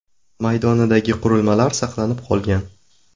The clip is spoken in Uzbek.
maydonidagi qurilmalari saqlanib qolingan.